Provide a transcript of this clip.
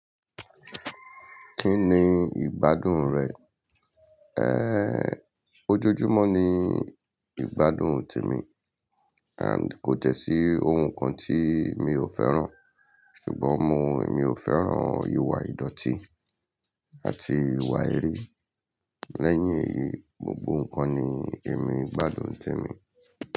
Kí ni ìgbádùn rẹ? Ehn, ojoojúmọ́ ni ìgbádùn tèmi and kò jẹ́ sí ohun kan tí mi ò fẹ́ràn. Ṣùgbọ́n mo, mi ò fẹ́ràn ìwà ìdọ̀tí àti ìwà erii. Lẹ́yìn èyí, gbogbo ǹkan ni èmi ìgbádùn tèmi.